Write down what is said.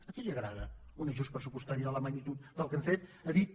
a qui li agrada un ajust pressupostari de la magnitud del que hem fet ha dit